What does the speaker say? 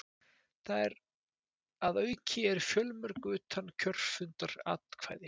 Þar að auki eru fjölmörg utankjörfundaratkvæði